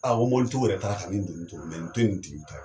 ko mɔbilitigiw yɛrɛ taara ka nin donni to, nin ti nin tigi ta ye.